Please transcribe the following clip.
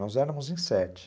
Nós éramos em sete.